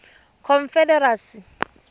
confederacy